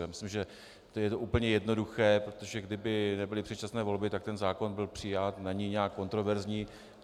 Já myslím, že je to úplně jednoduché, protože kdyby nebyly předčasné volby, tak ten zákon byl přijat, není nějak kontroverzní.